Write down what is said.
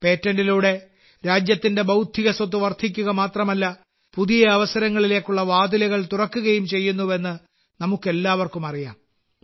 പേറ്റന്റിലൂടെ രാജ്യത്തിന്റെ ബൌദ്ധിക സ്വത്ത് വർദ്ധിക്കുക മാത്രമല്ല പുതിയ അവസരങ്ങളിലേക്കുള്ള വാതിലുകൾ തുറക്കുകയും ചെയ്യുന്നുവെന്ന് നമുക്കെല്ലാവർക്കും അറിയാം